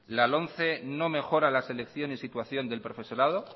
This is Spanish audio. la lomce no mejora la selección y situación del profesorado